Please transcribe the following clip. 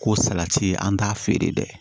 Ko salati ye an t'a feere dɛ